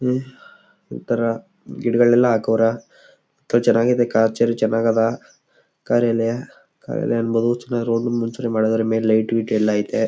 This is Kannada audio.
ಒಂಥರ ಗಿಡಗಳನ್ನ ಎಲ್ಲ ಹಾಕವ್ರಾ ಚನ್ನಗದ ಕಾರ್ಯಾಲಯ ಕಾರ್ಯಾಲಯ ಅನ್ನಬಹುದು ಮುಂಚೆ ಮಾಡೋದು ಆದ್ರೆ ಮೇಲೆ ಲೈಟ್ ಗಿಟ್ ಎಲ್ಲ ಅಯ್ತೆ.